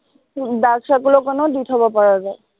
dark circle ৰ কাৰণেও দি থব পৰা যায়।